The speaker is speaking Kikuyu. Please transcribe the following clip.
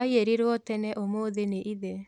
Aiyĩrirwo tene ũmũthĩ nĩ ithe